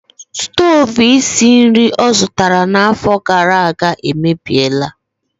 Stovu isi nri ọ zụtara n'afọ gara aga emebiela.